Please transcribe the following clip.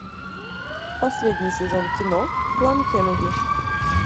последний сезон кино клан кеннеди